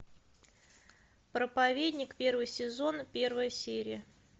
проповедник первый сезон первая серия